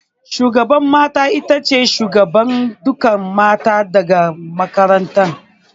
Shugaban mata itace shugaban dukkan mata dake makaranta